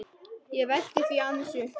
Ég velti því aðeins upp.